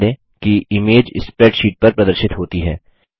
ध्यान दें कि इमेज स्प्रैडशीट पर प्रदर्शित होती है